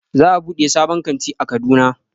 Za a buɗe sabon kanti a Kaduna